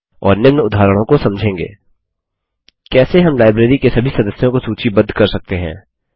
और निम्न उदाहरणों को समझेंगे कैसे हम लाइब्रेरी के सभी सदस्यों को सूचीबद्ध कर सकते हैं